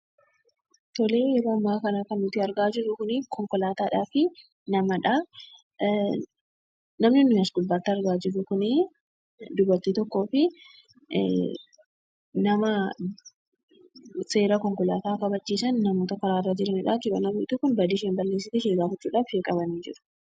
Yeroo ammaa kana kan nuti argaa jirru konkolaataa fi namadha. Namni nuyi as gubbaatti argaa jirru kun dubartii tokkoo fi nama seerota konkolaataa kabachiisan karaarra jiranidha jechuudha. Dubartiin sun badii isheen balleessiteef qabanii jiru.